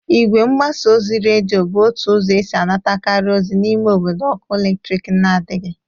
Igwe mgbasa ozi redio bụ otu ụzọ esi anatakarị ozi n'ime obodo ọkụ eletriki nadịghị.